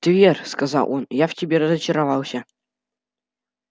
твер сказал он я в тебе разочаровался